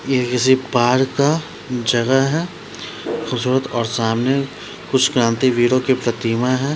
यह किसी पार्क का जगह है खूबसूरत और सामने कुछ क्रांति वीरों की प्रतिमा है --